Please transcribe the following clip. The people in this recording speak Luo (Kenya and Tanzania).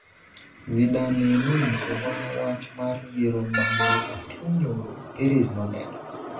Zidane nonyisowa wach mar yiero ma ne otimo nyoro'', Perez nomedo.